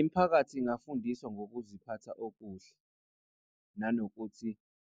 Imiphakathi ingafundiswa ngokuziphatha okuhle nanokuthi